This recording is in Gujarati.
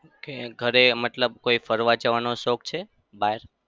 Okay ઘરે મતલબ કોઈ ફરવા જવાનો શોખ છે બહાર?